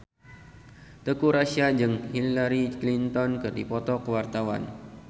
Teuku Rassya jeung Hillary Clinton keur dipoto ku wartawan